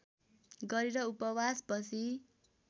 गरेर उपवास बसी